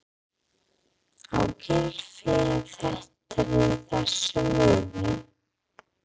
Á Gylfi að vera í þessu liði?